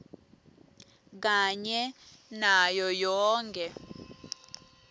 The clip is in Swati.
kanye nayo yonkhe